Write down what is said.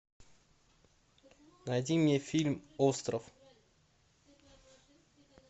найди мне фильм остров